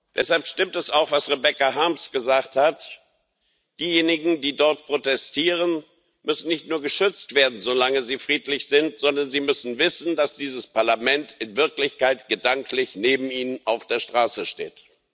Deshalb stimmt es auch, was Rebecca Harms gesagt hat Diejenigen, die dort protestieren, müssen nicht nur geschützt werden, solange sie friedlich sind, sondern sie müssen wissen, dass dieses Parlament in Wirklichkeit gedanklich neben ihnen auf der Straße steht.